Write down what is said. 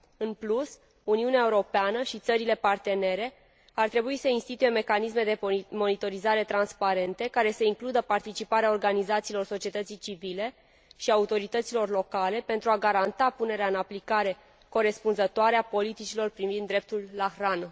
În plus, Uniunea Europeană și țările partenere ar trebui să instituie mecanisme de monitorizare transparente, care să includă participarea organizațiilor societății civile și autorităților locale pentru a garanta punerea în aplicare corespunzătoare a politicilor privind dreptul la hrană.